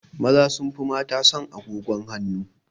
Maza sun fi mata son agogon hanu